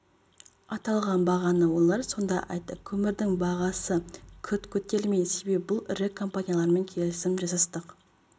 аталған бағаны олар сонда айтты көмірдің бағасы күрт көтерілмейді себебі бұл ірі компаниялармен келісім жасастық